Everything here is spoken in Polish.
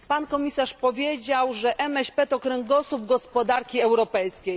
Pan komisarz powiedział, że MŚP to kręgosłup gospodarki europejskiej.